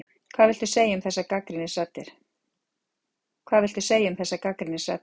Hvað viltu segja um þessar gagnrýnisraddir?